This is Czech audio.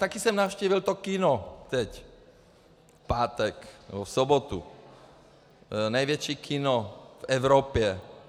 Také jsem navštívil to kino, teď v pátek nebo v sobotu, největší kino v Evropě.